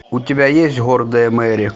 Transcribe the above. у тебя есть гордая мери